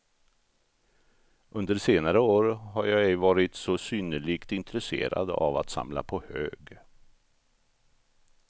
Under senare år har jag ej varit så synnerligt intresserad av att samla på hög.